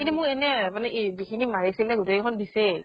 কিন্তু মোৰ এনে , মানে কি যিখিনি মাৰিছিলে, গোটেই খন দিছেই